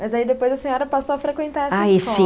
Mas aí depois a senhora passou a frequentar essa escola?